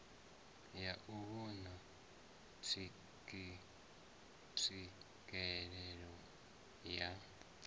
ya u vhona tswikelelo ya